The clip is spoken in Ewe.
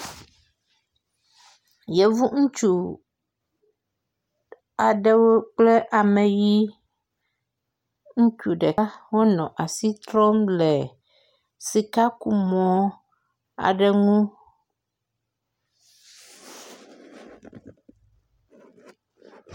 Yevu ŋutsu aɖewo kple ame ʋi ŋutsu ɖeka wonɔ asi trɔm le sikakumɔ aɖe ŋu.